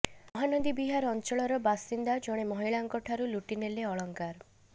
ମହାନଦୀବିହାର ଅଞ୍ଚଳର ବାସିନ୍ଦା ଜଣେ ମହିଳାଙ୍କ ଠାରୁ ଲୁଟି ନେଲେ ଅଳଙ୍କାର